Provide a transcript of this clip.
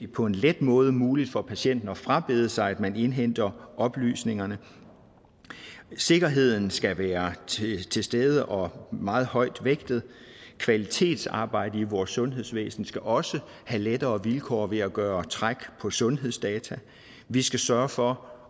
på en let måde muligt for patienten at frabede sig at man indhenter oplysningerne sikkerheden skal være til stede og meget højt vægtet kvalitetsarbejde i vores sundhedsvæsen skal også have lettere vilkår ved at gøre træk på sundhedsdata vi skal sørge for